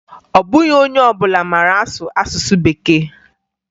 Ọ bụghị onye ọbụla mara asụ asụsụ Bekee